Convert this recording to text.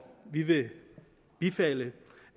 vi vi bifalder